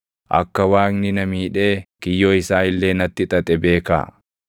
akka Waaqni na miidhee kiyyoo isaa illee natti xaxe beekaa.